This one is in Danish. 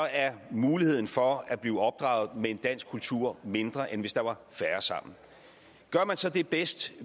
er muligheden for at blive opdraget med en dansk kultur mindre end hvis der var færre sammen gør man så det bedst